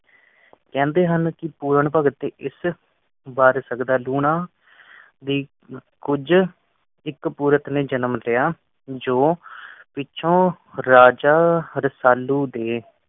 ਕਹਿੰਦੇ ਹਨ ਕਿ ਪੂਰਨ ਭਗਤ ਦੀ ਇਸ ਵਰ ਸਕਦਾ, ਲੂਣਾ ਦੀ ਕੁਜ ਇਕ ਪੁਰਖ ਨੇ ਜਨਮ ਲਯਾ ਜੋ ਪਿੱਛੋਂ ਰਾਜਾ ਰਸਾਲੂ ਦੇ